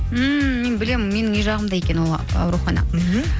ммм мен білемін менің үй жағымда екен ол аурухана мхм